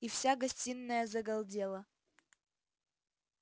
и вся гостиная загалдела